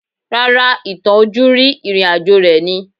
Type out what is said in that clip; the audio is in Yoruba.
Rárá, ìtàn ojúrí ìrìn àjò rẹ̀ ni